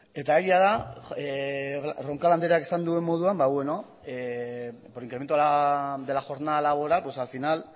eta egia da roncal andreak esan duen moduan ba beno por incremento de la jornada laboral pues al final